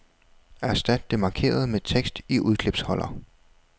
Erstat det markerede med tekst i udklipsholder.